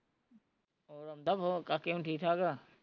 ਹੋਰ ਆਉਂਦਾ phone ਕਾਕੇ ਹੁਣੀ ਠੀਕ ਠਾਕ ਆ